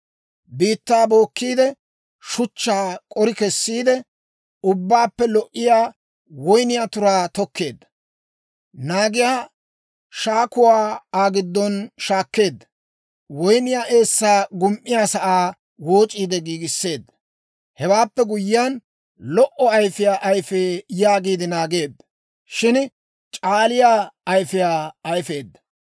Biittaa bookkiide, shuchchaa k'ori kessiide, Ubbaappe lo"iyaa woyniyaa turaa tokkeedda. Naagiyaa shakkuwaa Aa giddon shakkeedda; woyniyaa eessaa gum"iyaasaa wooc'iide giigisseedda. Hewaappe guyyiyaan, lo"o ayfiyaa ayifee, yaagiide naageedda; Shin c'aaliyaa ayfiyaa ayifeedda.